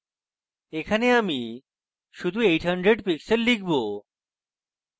এখানে আমি শুধু 800 pixels লিখব